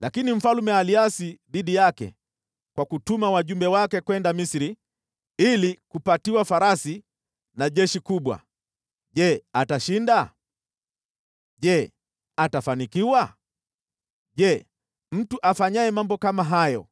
Lakini mfalme aliasi dhidi yake kwa kutuma wajumbe wake kwenda Misri ili kupatiwa farasi na jeshi kubwa. Je, atashinda? Je, atafanikiwa? Je, mtu afanyaye mambo kama hayo